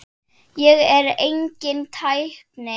Ég er enginn tækni